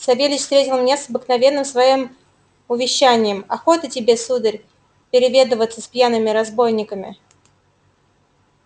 савельич встретил меня с обыкновенным своим увещанием охота тебе сударь переведываться с пьяными разбойниками